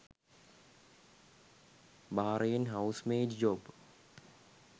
Bahrain housemaid job